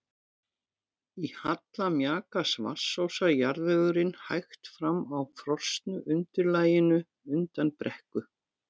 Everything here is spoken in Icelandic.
Í halla mjakast vatnsósa jarðvegurinn hægt fram á frosnu undirlaginu undan brekku.